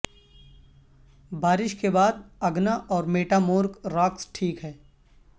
بارش کے بعد اگنا اور میٹامورک راکس ٹھیک ہے